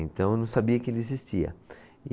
Então eu não sabia que ele existia. E